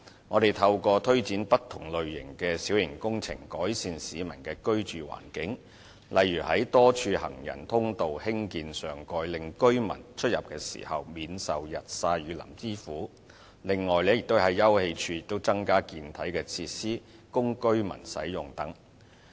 我們透過推展不同類型的小型工程，改善市民的居住環境，例如在多處行人通道興建上蓋，令居民出入時免受日曬雨淋之苦；另外，在休憩處增加健體設施，供居民使用等。